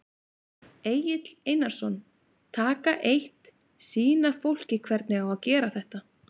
Egill Einarsson: Taka eitt, sýna fólki hvernig á að gera þetta?